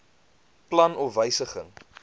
plan of wysiging